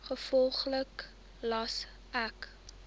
gevolglik gelas ek